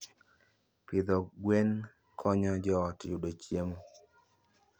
Pidho gwen konyo joot yudo chiemo.